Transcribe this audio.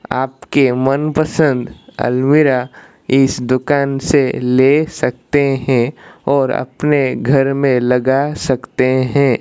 आपके मनपसंद अलमीरा इस दुकान से ले सकते हैं और अपने घर में लगा सकते हैं।